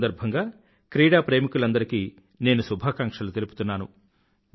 ఈ సందర్భంగా క్రీడాప్రేమికులందరికీ నేను శుభాకాంక్షలు తెలుపుతున్నాను